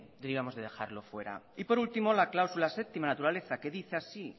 deberíamos de dejarlo fuera y por último la cláusula séptima naturaleza que dice así